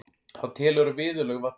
Hann telur að viðurlög vanti.